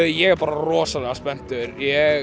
ég er bara rosalega spenntur